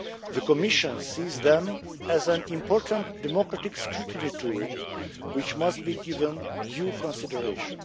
The Commission sees them as an important democratic scrutiny tool, which must be given due consideration.